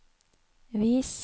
vis